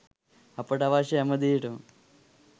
අපට අවශ්‍ය හැම දේටම